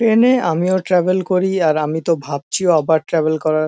train -এ আমিও travel করি আর আমি তো ভাবছি আবার ট্রাভেল করার--